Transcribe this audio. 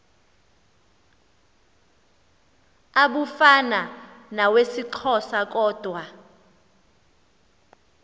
abufana nawesixhosa kodwa